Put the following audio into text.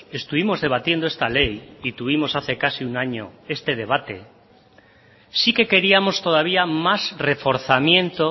estuvimos debatiendo esta ley y tuvimos hace casi un año este debate sí que queríamos todavía más reforzamiento